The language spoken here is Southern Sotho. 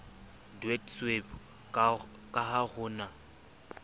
deedsweb ka ha ho na